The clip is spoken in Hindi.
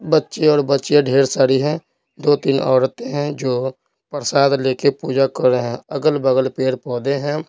बच्चे और बच्चियां ढेर सारी हैं दो-तीन औरते हैं जो प्रसाद लेकर पूजा कर रहे हैं अगल-बगल पेड़-पौधे हैं।